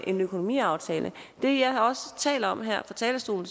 en økonomiaftale det jeg også taler om her fra talerstolen